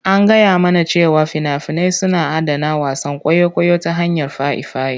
An gaya mana cewa fina-finai suna adana wasan kwaikwayo ta hanyar faifai.